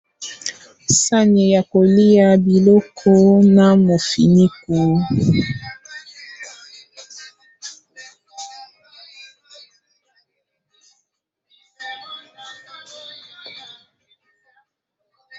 Sani ya kolia biloko na mofiniku.